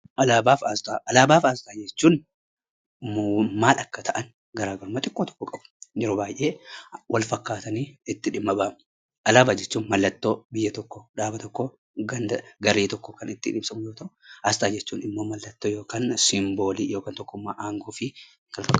Alaabaa fi asxaa jechuun maal akka ta'an garaagarummaa tokko tokkoon qabu. Yeroo baay'ee wal fakkaatanii itti dhimma ba'ama. Alaabaa jechuun mallattoo biyya tokkoo, dhaaba tokkoo, ganda garee tokkoo kan ittiin ibsamu yoo ta'u, asxaa jechuun immoo mallattoo yookiin simboolii yookaan immoo tokkummaa aangoo fi kan kana fakkaatan.